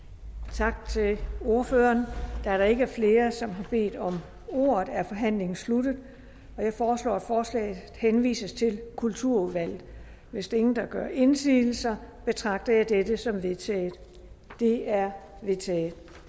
tak til ordføreren da der ikke er flere som har bedt om ordet er forhandlingen sluttet jeg foreslår at forslaget henvises til kulturudvalget hvis ingen gør indsigelse betragter jeg dette som vedtaget det er vedtaget